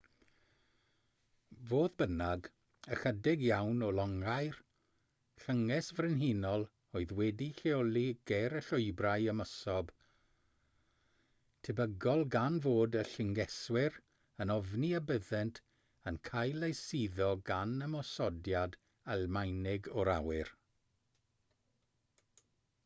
fodd bynnag ychydig iawn o longau'r llynges frenhinol oedd wedi'u lleoli ger y llwybrau ymosod tebygol gan fod y llyngeswyr yn ofni y byddent yn cael eu suddo gan ymosodiad almaenig o'r awyr